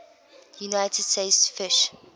united states fish